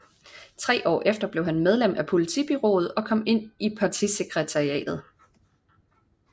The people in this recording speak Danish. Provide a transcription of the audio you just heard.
Tre år efter blev han medlem af politbureauet og kom ind i partisekretariatet